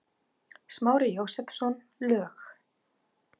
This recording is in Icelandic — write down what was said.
Smári Jósepsson, lög